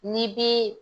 Ni bi